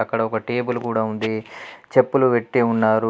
అక్కడ ఒక టేబుల్ కూడా ఉంది. చెప్పులు పెట్టి ఉన్నారు.